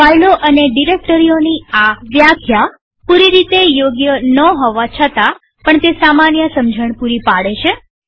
ફાઈલો અને ડિરેક્ટરીઓની આ વ્યાખ્યા પૂરી રીતે યોગ્ય ન હોવા છતાં પણ તે સામાન્ય સમજણ પૂરી પાડે છે